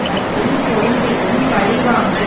மற்றும் கொழும்பிலும் பழிவாங்கல்